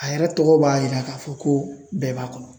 A yɛrɛ tɔgɔ b'a yira k'a fɔ ko bɛɛ b'a kɔnɔ.